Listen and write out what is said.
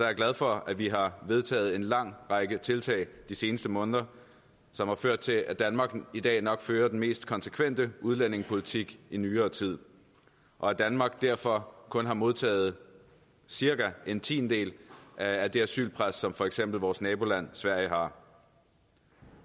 jeg glad for at vi har vedtaget en lang række tiltag de seneste måneder som har ført til at danmark i dag nok fører den mest konsekvente udlændingepolitik i nyere tid og at danmark derfor kun har modtaget cirka en tiendedel af det asylpres som for eksempel vores naboland sverige har